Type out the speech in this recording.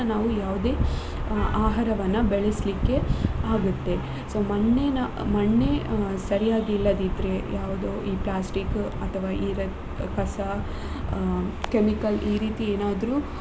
ನಾವ್ ಯಾವದೇ ಆಹಾರವನ್ನ ಬೆಳೆಸ್ಲಿಕ್ಕೆ ಆ ಆಗುತ್ತೆ so ಮಣ್ಣಿನ ಮಣ್ಣೇ ಅ ಸರಿಯಾಗಿ ಇಲ್ಲದಿದ್ರೆ ಯಾವ್ದು ಈ plastic ಅಥವಾ ಈ ಕಸ ಅ chemical ಈ ರೀತಿ ಏನಾದ್ರು.